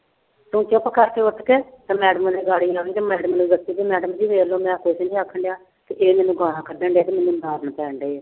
ਤੂੰ ਚੁੱਪ ਕਰਕੇ ਉੱਠ ਕੇ ਤੇ madam ਤੇ madam ਨੂੰ ਦੱਸੀ ਵੀ madam ਜੀ ਵੇਖ ਲਓ ਮੈਂ ਕੁਛ ਨੀ ਆਖਣਡਿਆ ਤੇ ਇਹ ਮੈਨੂੰ ਗਾਲਾਂ ਕੱਢਣਡਿਆ ਤੇ ਮੈਨੂੂੰ ਪੈਣਡੇ